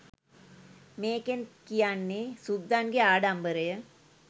මේකෙන් කියන්නේ සුද්දන්ගේ ආඩමිබරය